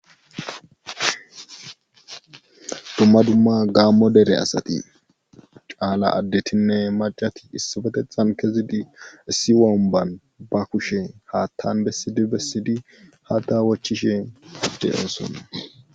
Dumma dumma gaammo dere asati caala addetinne macati issafeteththan kezidi issi womban ba kushe haattan bessidi bessidi hattana wachchishe de'oosona